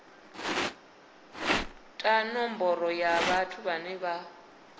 ta nomboro ya vhathu vhane